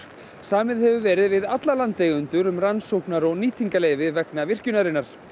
samið hefur verið við alla landeigendur um rannsóknar og nýtingarleyfi vegna virkjunarinnar